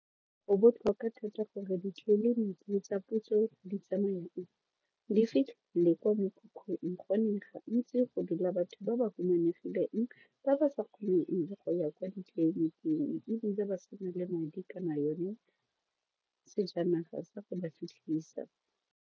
Go botlhokwa thata gore ditleliniki tsa puso di di fitlhe le kwa mekhukhung gonne gantsi go dula batho ba ba humanegileng ba ba sa kgoneng go ya kwa ditleliniking ebile ba se na le madi kana yone sejanaga sa go ba fitlhisa.